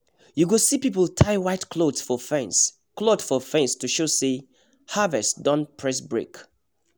you go see people tie white cloth for fence cloth for fence to show say harvest don press brake